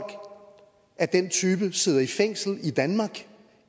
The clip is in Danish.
af den type sidder i fængsel i danmark